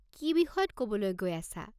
কি বিষয়ত ক'বলৈ গৈ আছা?